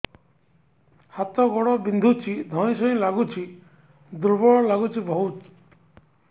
ହାତ ଗୋଡ ବିନ୍ଧୁଛି ଧଇଁସଇଁ ଲାଗୁଚି ଦୁର୍ବଳ ଲାଗୁଚି ବହୁତ